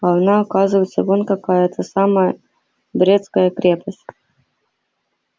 а она оказывается вон какая эта самая брестская крепость